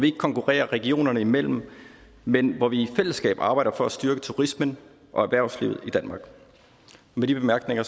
ikke konkurrerer regionerne imellem men hvor vi i fællesskab arbejder for at styrke turismen og erhvervslivet i danmark med de bemærkninger